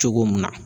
Cogo mun na